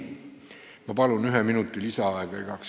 Ma palun igaks juhuks ühe minuti lisaaega!